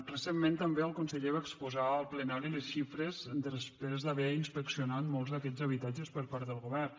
recentment també el conseller va exposar al plenari les xifres després d’haver inspeccionat molts d’aquests habitatges per part del govern